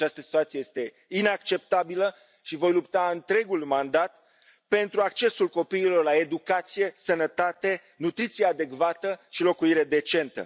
Această situație este inacceptabilă și voi lupta întregul mandat pentru accesul copiilor la educație, sănătate, nutriție adecvată și locuire decentă.